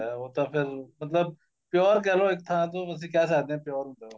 ਉਹ ਤਾਂ ਫੇਰ ਮਤਲਬ pure ਕਹਿ ਲੋ ਇੱਕ ਥਾਂ ਤੋਂ ਤੁਸੀਂ ਕਹਿ ਸਕਦੇ ਓ pure ਹੁੰਦਾ ਉਹ